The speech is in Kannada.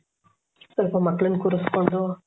ಪಾಪ ಮಕ್ಕಳನ್ನ ಕೂರಿಸಿಕೊಂಡು